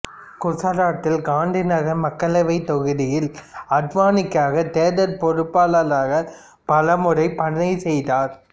குசராத்தில் காந்திநகர் மக்களவைத் தொகுதியில் அத்வானிக்காக தேர்தல் பொறுப்பாளராகப் பலமுறை பணி செய்தார்